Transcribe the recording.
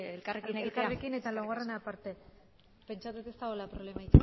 elkarrekin egitea elkarrekin eta laugarrena aparte pentsatzen dut ez dagoela problema